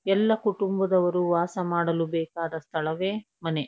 ಎಲ್ಲಾ ಕುಟುಂಬದವರು ವಾಸ ಮಾಡಲು ಬೇಕಾದ ಸ್ಥಳವೇ ಮನೆ --